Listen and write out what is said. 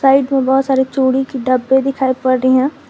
Side में बहोत सारे चूड़ी की डब्बे दिखाई पड़ रही हैं।